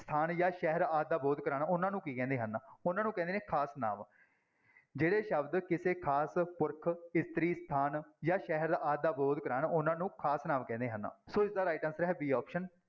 ਸਥਾਨ ਜਾਂ ਸ਼ਹਿਰ ਆਦਿ ਦਾ ਬੋਧ ਕਰਵਾਉਣ ਉਹਨਾਂ ਨੂੰ ਕੀ ਕਹਿੰਦੇ ਹਨ, ਉਹਨਾਂ ਨੂੰ ਕਹਿੰਦੇ ਨੇ ਖ਼ਾਸ ਨਾਂਵ, ਜਿਹੜੇ ਸ਼ਬਦ ਕਿਸੇ ਖ਼ਾਸ ਪੁਰਖ, ਇਸਤਰੀ, ਸਥਾਨ ਜਾਂ ਸ਼ਹਿਰ ਆਦਿ ਦਾ ਬੋਧ ਕਰਵਾਉਣ ਉਹਨਾਂ ਨੂੰ ਖ਼ਾਸ ਨਾਂਵ ਕਹਿੰਦੇ ਹਨ, ਸੋ ਇਸਦਾ right answer ਹੈ b option